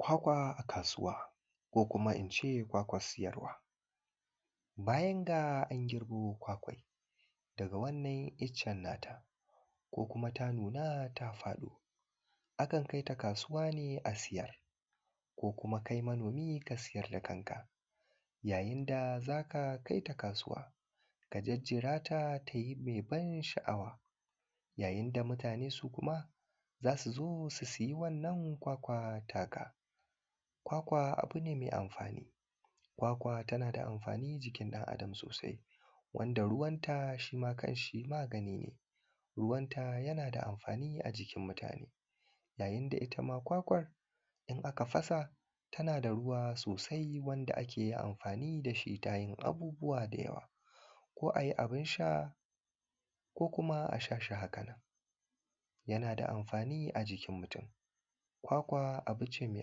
kwakwa a kasuwa ko kuma in ce kwakwan siyarwa bayan ga an girbo kwakwan daga wannan iccen na ta ko kuma ta nuna ta faɗo akan kai ta kasuwa ne a siyar ko kuma kai manomi ka siyar da kanka yayin da za ka kai ta kasuwa ka jejjera ta ta yi mai ban sha’awa yayin da mutane su kuma za su zo su siya wannan kwakwa ta ka kwakwa abu ne mai amfani kwakwa tana da amfani jikin dan adam sosai wanda ruwanta shi ma kan shi magani ne ruwanta yana da amfani a jikin mutane yayin da ita ma kwakwar in aka fasa ta na da ruwa sosai wanda ake yi amfani da shi ta yin abubuwa da yawa ko a yi abun sha ko kuma a sha shi haka nan yana da amfani a jikin mutun kwakwa abu ce mai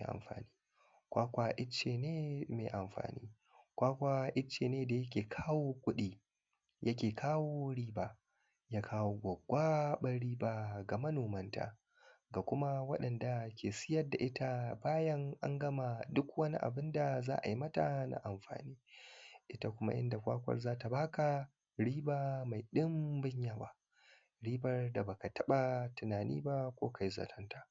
amfani kwakwa icce ne mai amfani kwakwa icce ne da ya ke kawo kuɗi ya ke kawo riba ya kawo gwaggwaɓan riba ga manomanta ga kuma wa’inda ke siyar da ita bayan an gama duk wani abinda za a yi mata na amfani ita kuma inda kwakwar za ta ba ka riba mai ɗinbin yawa ribar da ba ka taɓa tunani ba ko kai zaton ta